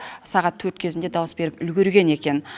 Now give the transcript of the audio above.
сағат төрт кезінде дауыс беріп үлгерген екен